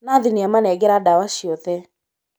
Nathi nĩamanengera ndawa ciothe